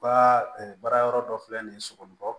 U ka baara yɔrɔ dɔ filɛ nin ye sogo